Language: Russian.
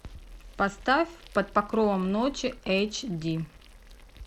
поставь под покровом ночи эйч ди